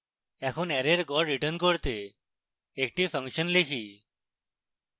এখন অ্যারের গড় return করতে একটি ফাংশন লিখি